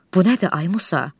Bu nədir, ay Musa?